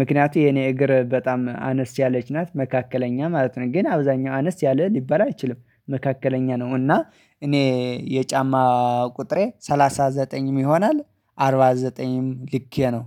ምክንያቱም የኔ እግር በጣም አነስ ያለች ናት መካከለኛ ማለት ነው ግን አብዛኛው አነስ ያለ ሊባል አይችልም መካከለኛ ነው እና እኔ የጫማ ቁጥሬ ሰላሳ ዘጠኝም ይሆናል አርባ ዘጠኝም ልኬ ነው።